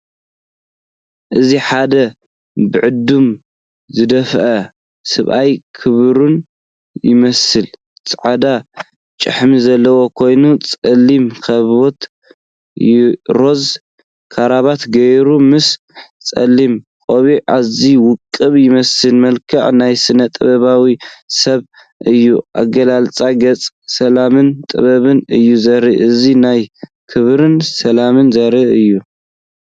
እዚ ሓደ ብዕድመ ዝደፍአ ሰብኣይ፡ክቡርን ይመስል። ጻዕዳ ጭሕሚ ዘለዎ ኮይኑ፡ጸሊም ካቦት፡፡ ሮዛ ክራቫታ ገይሩ፡ ምስ ጸሊም ቆቢዕ ኣዝዩ ውቁብ ይመስል። መልክዑ ናይ ስነ-ጥበባዊ ሰብ እዩ። ኣገላልጻ ገጹ ሰላምን ጥበብን እዩ ዘርኢ። እዚ ናይ ክብርን ሰላምን ዘርኢ እዩ።